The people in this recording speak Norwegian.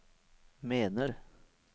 mener